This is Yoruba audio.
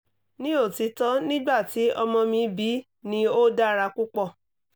ni otitọ nigbati ọmọ mi bi ni o dara pupọ